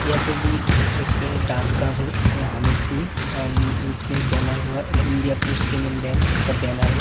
यहाँ पे भी एक डाँकघर है। यहाँ हमीरपुर एंड नीच में एक बैनर हो-ह्वै इंडिया पोस्ट पेमेंट बैंक का बैनर है।